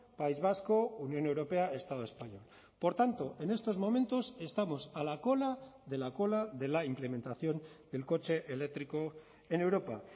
país vasco unión europea estado español por tanto en estos momentos estamos a la cola de la cola de la implementación del coche eléctrico en europa